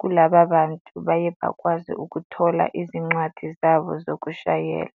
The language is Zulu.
kulaba bantu baye bakwazi ukuthola izincwadi zabo zokushayela.